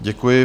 Děkuji.